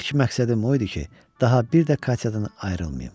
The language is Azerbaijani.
İlk məqsədim o idi ki, daha bir də Katyadan ayrılmayım.